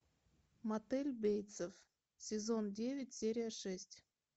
мотель бейтсов сезон девять серия шесть